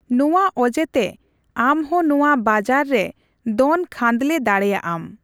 ᱱᱚᱣᱟ ᱚᱡᱮ ᱛᱮ ᱟᱢᱦᱚᱸ ᱱᱚᱣᱟ ᱵᱟᱡᱟᱨ ᱨᱮ ᱫᱚᱱ ᱠᱷᱟᱫᱞᱮ ᱫᱟᱲᱮᱭᱟᱜᱼᱟᱢ ᱾